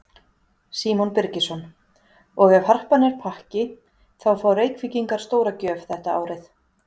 Símon Birgisson: Og ef Harpan er pakki þá fá Reykvíkingar stóra gjöf þetta árið?